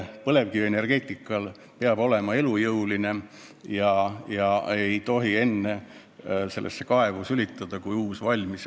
Põlevkivienergeetika peab olema elujõuline ja me ei tohi vanasse kaevu sülitada enne, kui uus on valmis.